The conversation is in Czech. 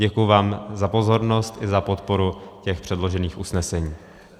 Děkuji vám za pozornost i za podporu těch předložených usnesení.